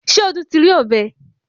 Ṣé Ọdún ti rí ọ̀bẹ?